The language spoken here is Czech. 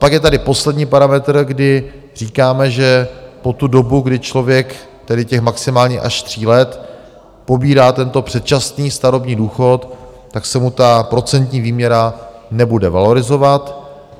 Pak je tady poslední parametr, kdy říkáme, že po tu dobu, kdy člověk - tedy těch maximálně až tří let - pobírá tento předčasný starobní důchod, tak se mu ta procentní výměra nebude valorizovat.